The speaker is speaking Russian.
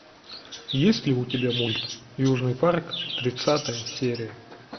есть ли у тебя мульт южный парк тридцатая серия